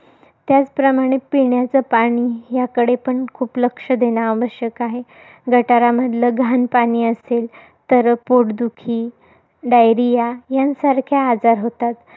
त्याचप्रमाणे पिण्याचं पाणी, याकडे पण खूप लक्ष देणं आवश्यक आहे. गटारामधलं घाण पाणी असेल, तर पोटदुखी, diarrhoea यांसारखे आजार होतात.